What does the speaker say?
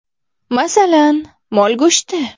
Masalan, mol go‘shti.